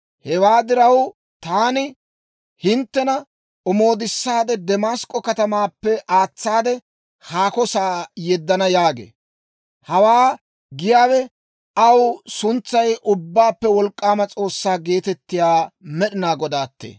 Hewaa diraw, taani hinttena omoodissaade Damask'k'o katamaappe aatsaade haako sa'aa yeddana» yaagee. Hawaa giyaawe aw suntsay Ubbaappe Wolk'k'aama S'oossaa geetettiyaa Med'inaa Godaattee.